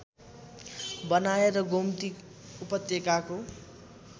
बनाए र गोमती उपत्यकाको